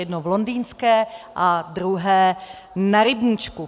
Jedno v Londýnské a druhé Na Rybníčku.